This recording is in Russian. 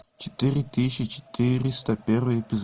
четыре тысячи четыреста первый эпизод